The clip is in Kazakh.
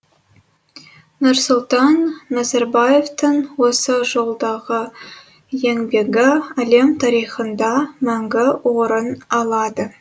нұрсұлтан назарбаевтың осы жолдағы еңбегі әлем тарихында мәңгі орын алады